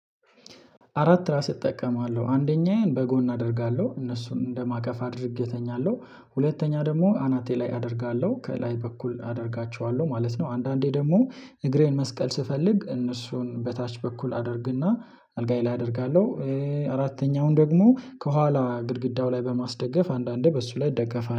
አራት ትራስ እጠቀማለሁ አንደኛዬን በጎን አደርጋለሁ እነሱን እንደማቀፍ አድርጌ እተኛለሁ ሁለተኛ ደግሞ አናቴ ላይ አደርጋለሁ ከላይ በኩል አደርጋቸዋለሁ ማለት ነው። አንዳንዴ ደግሞ እግሬን መስቀል ስፈልግ እነሱን በታች በኩል አደርግና አልጋዬ ላይ አደርጋለሁ። አራተኛውን ደግሞ ከኋላ ግድግዳው ላይ በማስደገፍ አንዳንዴ በሱ ላይ ደገፋል